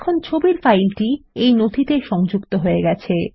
এখন ছবির ফাইলটি এই নথিতে সংযুক্ত হয়ে গেছে